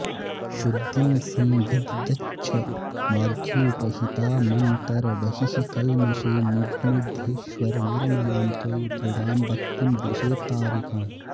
शुद्धिं संविदधच्छमाद्युपहितामन्तर्बहिः कल्मषे निर्णुद्येश्वर निर्मलां त्वयि दृढां भक्तिं दिशेत्तारिकाम्